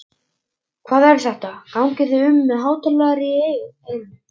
Hvað er þetta, gangið þið um með hátalara í eyrunum?